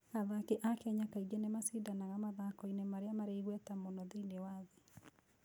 Athaki a Kenya kaingĩ nĩ macindanagia mathako-inĩ marĩa marĩ igweta mũno thĩinĩ wa thĩ.